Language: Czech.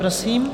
Prosím.